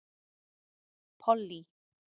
Pollý